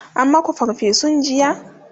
an maku farfesun jiya?